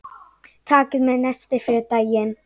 Takið með nesti fyrir daginn.